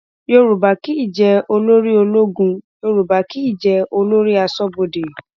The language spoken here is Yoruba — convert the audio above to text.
yorùbá kì í jẹ olórí ológun yorùbá kì í jẹ olórí aṣọbodè